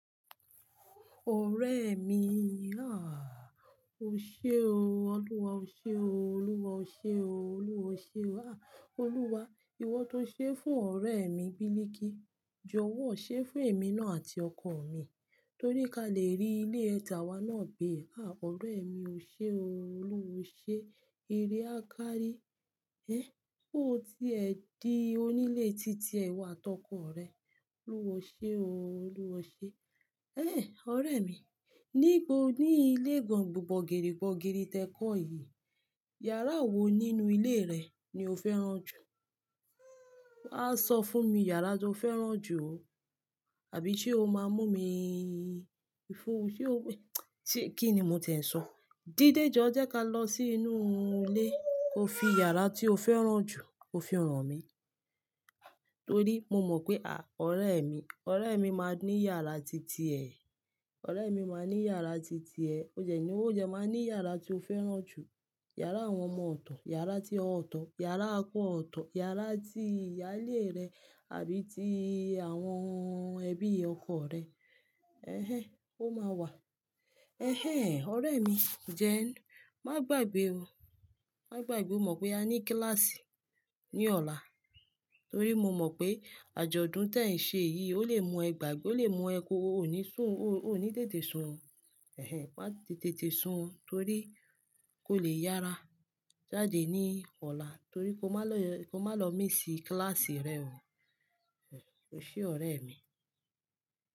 Ọ̀rẹ́ mi, à, o ṣe o, Olúwa o ṣe o, Olúwa o ṣe o, Olúwa o ṣe o. À, Olúwa, ìwọ tó ṣé fún ọ̀rẹ́ mi Biliki, jọ̀wọ́ ṣé fún èmi náà àti ọkọ mi, torí ká lè rí ilé ìtàwà náà gbé. À, ọ̀rẹ́ mi o ṣe o, Olúwa o ṣe. Eré a kárí. Ẹ, pe o tí ẹ di onílé titi ẹ iwo ati ọkọ rẹ. Olúwa o ṣe o, Olúwa o ṣe. Ẹ, ọ̀rẹ́ mi, níbo ní ilé gbòǹgbòǹgèrè gbòǹgèrè tẹ kọ́ yìí, yàrá wo nínú ilé rẹ ni o fẹ́ràn jù? Awa so fún mi yàrá tó fẹ́ràn jù o. Àbí ṣé o máa mú mi fún-- ṣé o-- tí, kí ni mo ti ń sọ? Dídéjọ́ jẹ́ ká lọ sí inú ilé, ko fi yàrá tí o fẹ́ràn jù, ko fi hàn mí. Torí mo mọ̀ pé à, ọ̀rẹ́ mi, ọ̀rẹ́ mi máa ní yàrá titi ẹ. Ọ̀rẹ́ mi máa ní yàrá titi ẹ. O dẹ̀ ní, ó dẹ máa ní yàrá tí o fẹ́ràn jù. Yàrá àwọn ọmọ ọ̀tọ̀, yàrá tíe ọ̀tọ̀, yàrá okọ̀ ọ̀tọ̀, yàrá ti ìyálé rẹ àbí ti àwọn ẹbí ọkọ rẹ. Ẹ̀hẹ́n, ó máa wà. Ẹ̀hẹ́n, ọ̀rẹ́ mi, then, má gbàgbé o. Má gbàgbé o mọ̀ pé a ní kíláàsì ní ọ̀la. Torí mo mọ̀ pé àjọ̀dún tẹ ń ṣe yìí ó lè mú ẹ gbàgbé, ó lè mú ẹ kó, o ní sùn, o, o ní tètè sun o. Ẹ̀hẹ́n, má tètè sun o torí kó lè yára jáde ní ọ̀la torí kó má lọ, kó má lọ miss kíláàsì rẹ o. Ẹ̀hẹ́n, o ṣe ọ̀rẹ́ mi.